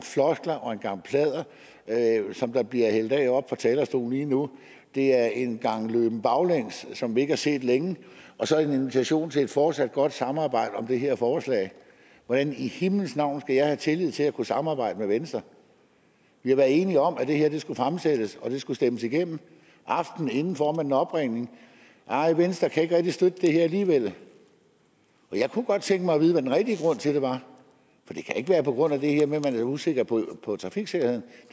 floskler og en gang pladder som bliver hældt ud oppe fra talerstolen lige nu det er en gang løben baglæns som vi ikke har set længe og så en invitation til et fortsat godt samarbejde om det her forslag hvordan i himlens navn skal jeg have tillid til at kunne samarbejde med venstre vi har været enige om at det her skulle fremsættes og at det skulle stemmes igennem aftenen inden får man en opringning nej venstre kan ikke rigtig støtte det her alligevel jeg kunne godt tænke mig at vide hvad den rigtige grund til det var for det kan ikke være på grund af det her med at man er usikker på trafiksikkerheden